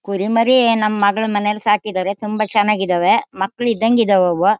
ಕುರಿ ಮರಿ ನಮ್ ಮಗ್ಳು ಮನೇಲ್ ಸಾಕಿದರೆ ತುಂಬಾ ಚನಗಿದಾವೆ ಮಕ್ಳ ಇದಂಗ್ ಇದಾವವು .